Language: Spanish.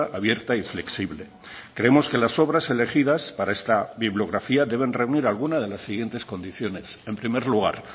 abierta y flexible creemos que las obras elegidas para esta bibliografía deben reunir alguna de las siguientes condiciones en primer lugar